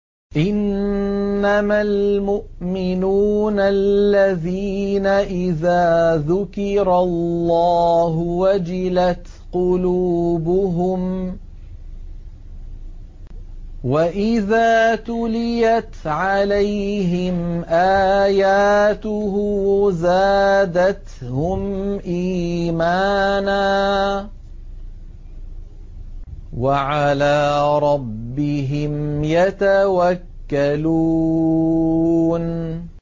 إِنَّمَا الْمُؤْمِنُونَ الَّذِينَ إِذَا ذُكِرَ اللَّهُ وَجِلَتْ قُلُوبُهُمْ وَإِذَا تُلِيَتْ عَلَيْهِمْ آيَاتُهُ زَادَتْهُمْ إِيمَانًا وَعَلَىٰ رَبِّهِمْ يَتَوَكَّلُونَ